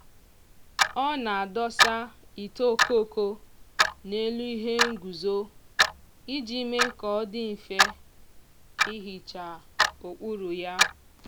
ọ na-adọsa ite okoko n'elu ihe nguzo iji mee ka ọ dị mfe ihicha okpuru ya.